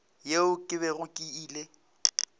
yeo ke bego ke ile